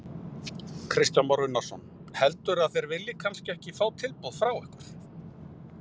Kristján Már Unnarsson: Heldurðu að þeir vilji kannski ekki fá tilboð frá ykkur?